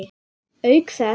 Auk þess.